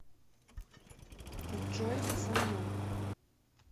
джой со мной